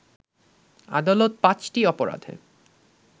আদালত পাঁচটি অপরাধে